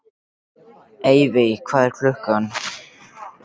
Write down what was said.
Evey, hvað er klukkan?